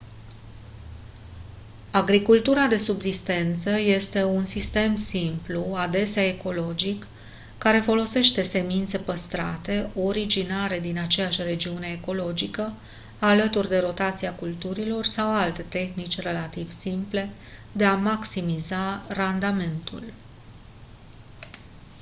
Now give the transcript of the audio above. agricultura de subzistență este un sistem simplu adesea ecologic care folosește semințe păstrate originare din aceeași regiune ecologică alături de rotația culturilor sau alte tehnici relativ simple de a maximiza randamentul